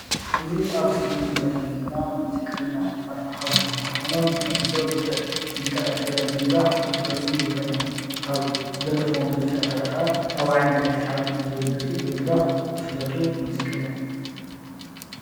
እዚ ኣብ ስክሪን እንሪኦም ዘለና ሙዚቃኛ ኣቶ ሓጎስ ኮይኖምብትለምዶ ብዙሕ ሙዚቀኛታት ትግራይ ብምድራፍ ዝፍለጡ ሙዚቀኛ እዮም። ካብ ዝደረፍዎም ደሪፊታት ሓደ ከዓ ካብ ዓይነይ ኣይትርሓቅኒ ዝብል ብምድራፍ ዝፍለጡ ሙዚቀኛ እዮም።